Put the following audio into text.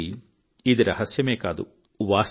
నిజానికి ఇది రహస్యమే కాదు